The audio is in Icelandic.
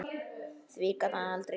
Því gat hann aldrei gleymt.